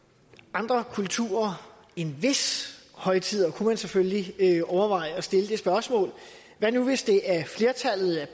andre kulturer end hvis højtider det kunne man selvfølgelig overveje at stille som spørgsmål hvad nu hvis det er flertallet af